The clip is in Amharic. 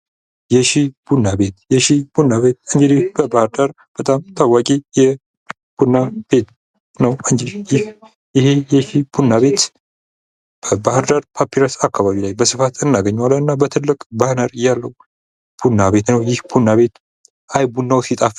የሺ ቡና ቤት ፦ የሺ ቡና ቤት እንግዲህ በባህር ዳር በጣም ታዋቂ የቡና ቤት ነው ። ይህ ቡና ቤት በባህር ዳር ፓፒረስ አካባቢ በስፋት እናገኘዋለን ። እና በትልቅ ባነር ያለው ቡና ቤት ነው ይህ ቡና ቤት አይ ቡናው ሲጣፍጥ